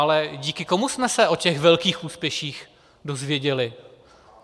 Ale díky komu jsme se o těch velkých úspěších dozvěděli?